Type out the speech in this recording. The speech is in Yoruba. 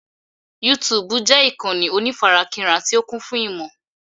Yútúúbù jẹ́ ìkànnì onífarakínra tí ó kún fún ìmò.